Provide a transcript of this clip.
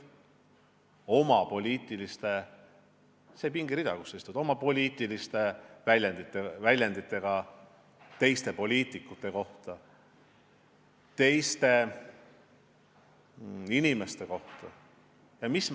Millised poliitilised väljendid teiste poliitikute, teiste inimeste kohta on nende suust kõlanud.